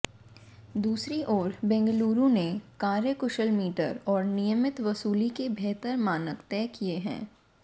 दूसरी ओर बेंगलुरु ने कार्यकुशल मीटर और नियमित वसूली के बेहतर मानक तय किए हैं